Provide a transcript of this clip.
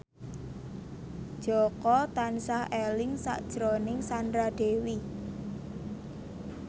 Jaka tansah eling sakjroning Sandra Dewi